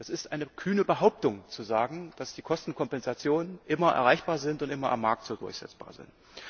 Es ist eine kühne Behauptung zu sagen, dass die Kostenkompensationen immer erreichbar sind und immer am Markt so durchsetzbar sind.